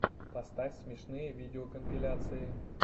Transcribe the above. поставь смешные видеокомпиляции